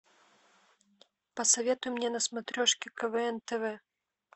посоветуй мне на смотрешке квн тв